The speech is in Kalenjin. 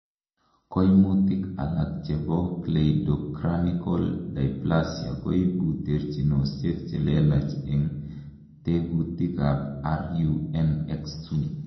Koimutik alak chebo cleidocranial dysplasia koibu terchinosiek chelelach en tekutikab RUNX2.